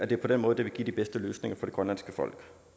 det er på den måde det vil give de bedste løsninger for det grønlandske folk